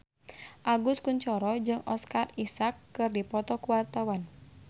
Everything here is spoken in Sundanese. Agus Kuncoro jeung Oscar Isaac keur dipoto ku wartawan